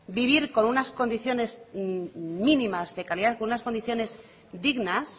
vivir con unas condiciones mínimas de calidad con unas condiciones dignas